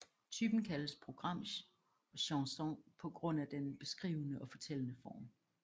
Typen kaldes programchanson på grund af den beskrivende og fortællende form